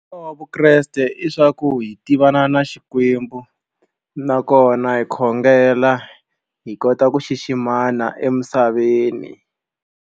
vukreste i swa ku hi tivana na Xikwembu nakona hi khongela hi kota ku xiximana emisaveni.